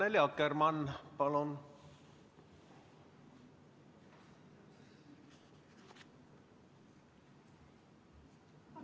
Annely Akkermann, palun!